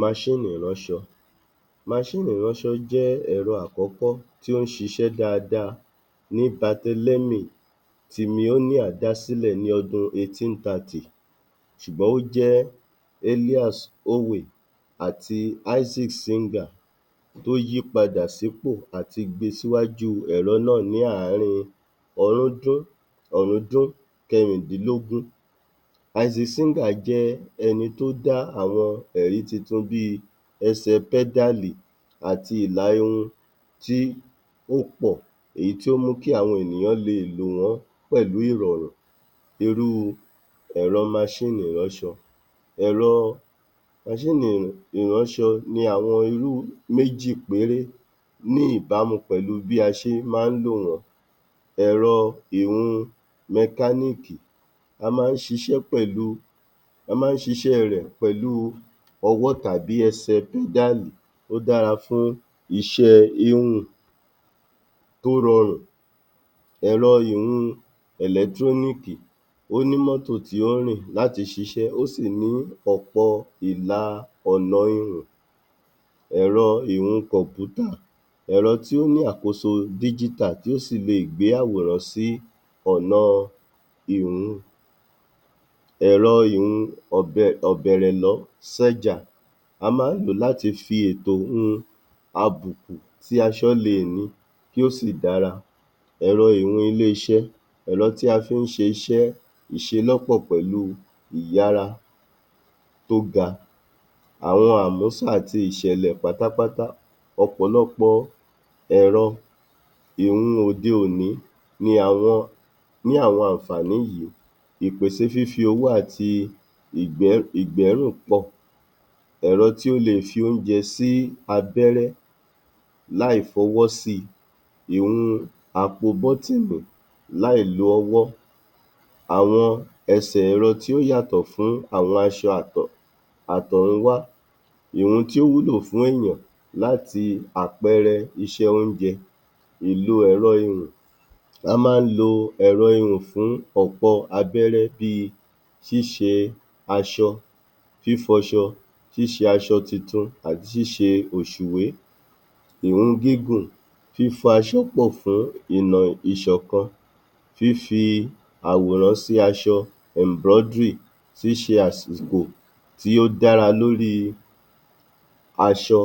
ìránṣọ ìránṣọ jẹ́ ẹ̀rọ àkọ́kọ́ tí ó ń ṣíṣe dáadáa ní batelémì tí dá sílẹ̀ ní ọdún ṣùgbọ́n ó jẹ́ àti tó yí padà sí pò àti gbé síwájú ẹ̀rọ náà ní àárín ọrúndún ọ̀rúndún kẹrìndínlógún. jẹ́ ẹni tó dá àwọn ẹ̀rí tuntun bí i ẹsẹ̀ pẹ́dálì àti ìlà-irun tí ó pọ̀. Èyí tí ó mú kí àwọn ènìyàn lè lòwọ́ pẹ̀lú ìrọ̀rùn. Irú ẹ̀rọ ìránṣọ. Ẹ̀rọ ìránṣọ ni àwọn irú méjì péré ní ìbámu pẹ̀lú bí a ṣe máa ń lò wọ́n. Ẹ̀rọ ìhun mẹkánííkì, a máa ń siṣẹ́ pẹ̀lú, a máa ń ṣíṣe rẹ̀ pẹ̀lú ọwọ́ tàbí ẹsẹ̀ pẹ́dálì. Ó dárafún iṣẹ́ íhùn tó rọrùn. Ẹ̀rọ ìhun ẹ̀lẹ́trónííkì Ó ní mọ́tò tí ó rìn láti ṣiṣẹ́. Ó sì ní ọ̀pọ ìla ọ̀nà ihùn. Ẹ̀rọ ìhun kọ̀mpútà Ẹ̀rọ tí ó lo àkóso tí ó sì lè gbé àwòrán sí ọ̀na ìhun Ẹ̀rọ ìhun ọ̀bẹ ọ̀bẹ̀rẹ̀lọ́ A máa ń lò ó láti fi ètò hun àbùkù tí aṣọ lè ní kí ó sì dára. Ẹ̀rọ ihun ilé-iṣẹ́ Ẹ̀rọ tí a fí ń ṣe iṣẹ́ ìṣelọ́pọ̀ pẹ̀lú ìyára tó ga. Àwọn àmúsà àti ìṣẹ̀lẹ̀ pátápátá. Ọ̀pọ̀lọpọ̀ ẹ̀rọ ìhun òde-òní ni àwọn ní àwọn ànfàní yìí. Ìpèsè fífi owó àti ìgbẹ́, ìgbẹ́rùn-pọ̀ Ẹ̀rọ tí ó le fi oúnjẹ sí abẹ́rẹ́ láì fi ọwọ́ si. Ìhun àpò bọ́tínì láì lo ọwọ́ Àwọn ẹsẹ̀ran tí ó yàtọ̀ fún àwọn aṣọ àtọ̀runwá Ìhun tí ó wúlò fún èèyàn láti àpẹẹrẹ iṣẹ́ oúnjẹ, ìlò ẹ̀rọ ihùn A máa ń lo ẹ̀rọ ihùn fún ọ̀pọ abẹ́rẹ́ bí i ṣíṣe aṣọ, fífọṣọ, ṣíṣe aṣọ titun, àti ṣíṣe ọ̀ṣùwé. Ìhun gígùn Fífọ aṣọ́pọ̀ fún ìmọ̀ ìṣọ̀kan, fífi àwòrán sí aṣọ. Ṣíṣe àsìkò tí ó dára lórí aṣọ.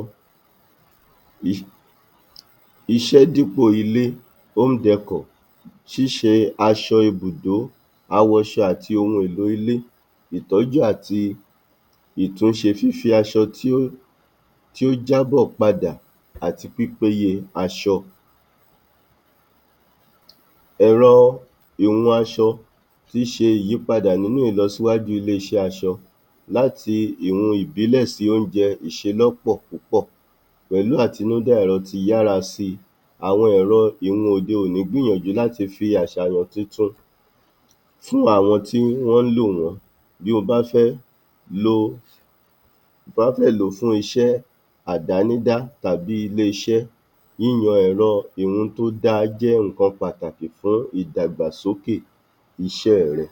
Iṣẹ́ dípò ilé Ṣíṣe aṣọ ibùdó. Awọṣọ àti ohun ètò ilé, ìtọ́ju àti ìtúnṣe. Fífi aṣọ tí ó tí ó jábọ̀ padà àti pípéye aṣọ. Ẹ̀rọ ìhun aṣọ tí í ṣe ìyípadà nínú ìlọsíwájú ilé-iṣẹ́ aṣọ láti ìro ìbílẹ̀ sí oúnjẹ ìṣelọ́pọ̀ púpọ̀ pẹ̀lú àtinúdá ẹ̀rọ ti yára si àwọn ẹ̀rọ ìhun òde-òní gbínyànjú láti fi àṣàyàn titun fún àwọn tí wọ́n lò wọ́n. Bí o bá fẹ́ lo, bí o bá fẹ́ lo fún iṣẹ́ àdánídá tàbí ilé-iṣẹ́ yíyan ẹ̀rọ ìhun tó da jẹ́ nǹkan pàtàkì fún ìdàgbàsókè iṣẹ́ rẹ.